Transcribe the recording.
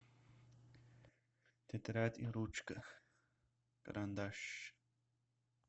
тетрадь и ручка карандаш